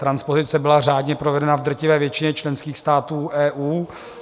Transpozice byla řádně provedena v drtivé většině členských států EU.